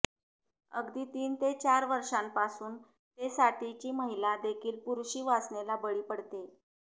अगदी तीन ते चार वर्षांपासून ते साठीची महिला देखील पुरुषी वासनेला बळी पडतेय